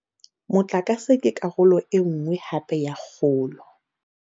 Motlakase ke karolo e nngwe hape ya kgolo.